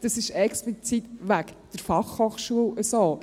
Das ist explizit wegen der Fachhochschule so.